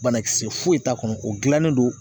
Banakisɛ foyi t'a kɔnɔ o gilannen don